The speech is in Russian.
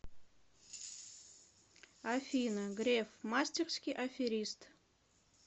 афина греф мастерский аферист